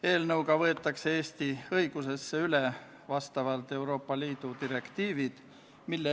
Eelnõu esitas Vabariigi Valitsus k.a 10. septembril.